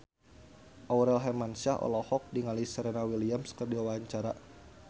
Aurel Hermansyah olohok ningali Serena Williams keur diwawancara